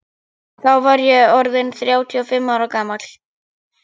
Þá var ég orð inn þrjátíu og fimm ára gamall.